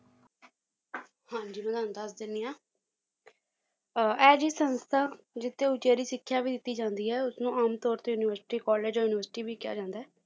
ਹਾਂਜੀ ਮੈਂ ਤੁਹਾਨੂੰ ਦੱਸ ਦੇਣੀ ਆ ਅਹ ਐ ਜਿਹੜੀ ਸੰਸਥਾ ਜਿਸ ਤੇ ਉਚੇਰੀ ਸਿੱਖਿਆ ਵੀ ਦਿੱਤੀ ਜਾਂਦੀ ਹੈ ਉਸਨੂੰ ਆਮ ਤੌਰ ਤੇ university college ਜਾਂ university ਵੀ ਕਿਹਾ ਜਾਂਦਾ ਹੈ